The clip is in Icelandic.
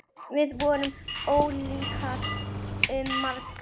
Við vorum ólíkir um margt.